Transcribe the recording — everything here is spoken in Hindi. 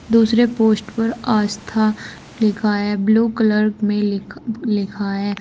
दूसरे पोस्ट पर आस्था लिखा है ब्लू कलर में लिख लिखा है।